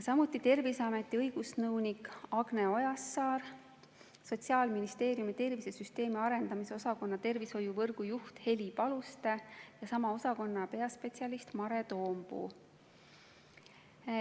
Samuti olid kohal Terviseameti õigusnõunik Agne Ojassaar, Sotsiaalministeeriumi tervisesüsteemi arendamise osakonna tervishoiuvõrgu juht Heli Paluste ja sama osakonna peaspetsialist Mare Toompuu.